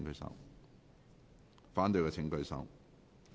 反對的請舉手。